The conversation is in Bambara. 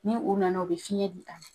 Ni u nana u be fiɲɛ di ta